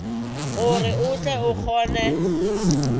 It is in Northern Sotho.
gore o tle o kgone